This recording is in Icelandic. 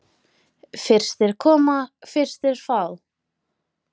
Fyrstir koma, fyrstir fá.